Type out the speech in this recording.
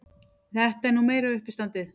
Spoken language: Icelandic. Þetta er nú meira uppistandið!